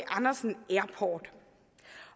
andersen airport